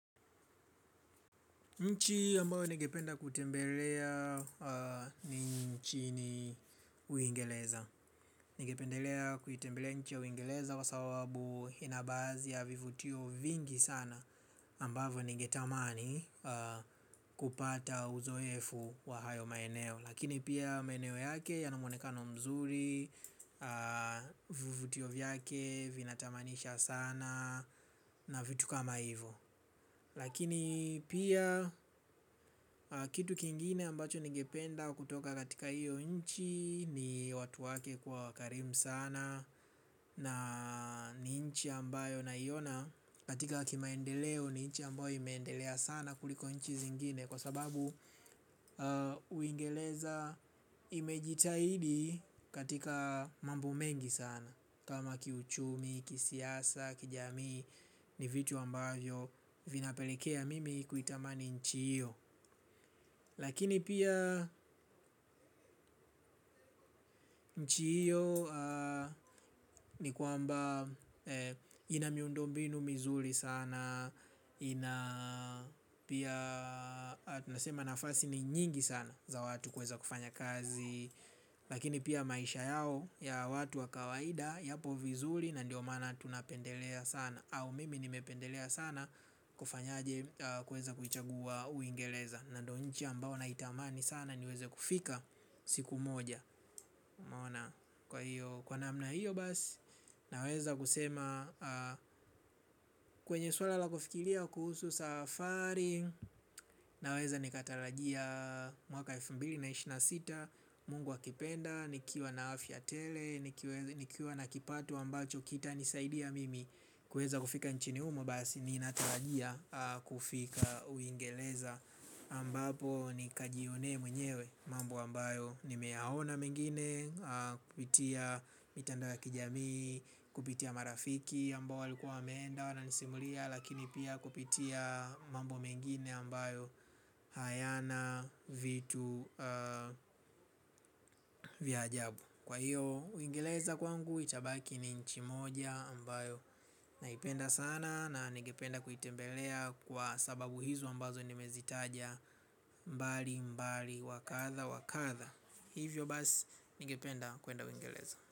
Nchi ambayo nigependa kutembelea, ni Uingereza. Nigependelea kutembelea nchi ya Uingereza wa sababu inabaadhi ya vivutio vingi sana ambavyo ningetamani kupata uzoefu wa hayo maeneo. Lakini pia maeneo yake yanamwonekano mzuri. Vivutio vyake vinatamanisha sana na vitu kama hivo. Lakini pia kitu kingine ambacho nigependa kutoka katika hiyo nchi ni watu wake kuwa karimu sana na ni nchi ambayo naiona katika kimaendeleo ni nchi ambayo imeendelea sana kuliko nchi zingine kwa sababu Uingereza imejitahidi katika mambo mengi sana. Kama kiuchumi, kisiasa, kijamii ni vitu ambavyo vinapelekea mimi kuitamani nchi hiyo. Lakini pia nchi hiyo ni kwamba inamiundombinu mizuri sana. Pia tunasema nafasi ni nyingi sana za watu kuweza kufanya kazi. Lakini pia maisha, yao ya watu wa kawaida yapo vizuri na ndio maana tunapendelea sana au mimi nimependelea sana kufanyaje kuweza kuchagua Uingereza ndio nchi ambayo naitamani sana niweze kufika siku moja kwa namna hiyo basi naweza kusema kwenye swala la kufikiria kuhusu safari naweza nikatarajia, mwaka wa elfu mbili na ishirini na sita, mungu akipenda nikiwa na afya tele nikiwa na kipato ambacho kitanisaidia mimi kuweza kufika nchini humo basi ninatarajia kufika Uingereza ambapo nikajionee mwenyewe mambo ambayo nimeyaona mengine. Kupitia mitandao ya kijami. Kupitia marafiki ambao walikuwa wameenda wananisimulia lakini pia kupitia mambo mengine ambayo hayana vitu vya ajabu. Kwa hiyo Uingereza kwangu itabaki ni nchi moja ambayo naipenda sana na nigependa kuitembelea kwa sababu hizo ambazo nimezitaja mbali mbali wakadha wakadha hivyo basi nigependa kuenda Uingereza.